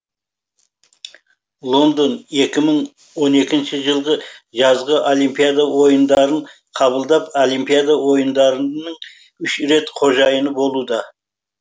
лондон екі мың он екінші жылғы жазғы олимпиада ойындарын қабылдап олимпиада ойындарының үш рет қожайыны болуда